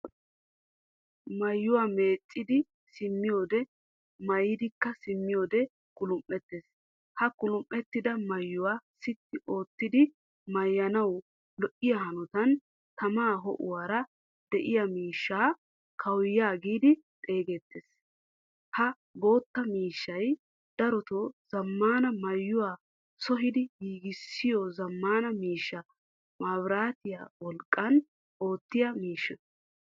Maayuwaa meeccidi simmiyode, maayidikka simmiyode kulum'ettees. Ha kulum'ettida maayuwaa sitti oottidi maayanawu lo'iyaa hanottan tama houwaara de'iyaa miishshaa kawuyaa giidi xeegettees. Ha boottaa miishshay darotto zammaana maayuwaa sohidi giigissiyo zammaana miishsha maabirattiya wolqqan oottiya miishshaa.